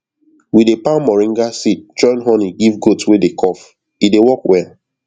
we dey pound moringa seed join honey give goat wey dey cough e dey work well